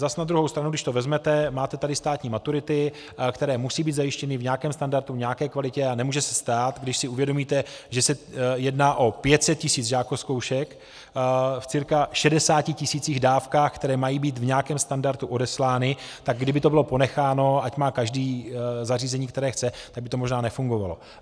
Zas na druhou stranu když to vezmete, máte tady státní maturity, které musí být zajištěny v nějakém standardu, v nějaké kvalitě, a nemůže se stát, když si uvědomíte, že se jedná o 500 tisíc žákozkoušek v cca 60 tisících dávkách, které mají být v nějakém standardu odeslány, tak kdyby to bylo ponecháno, ať má každý zařízení, které chce, tak by to možná nefungovalo.